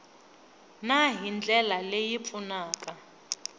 na hi ndlela leyi pfunaka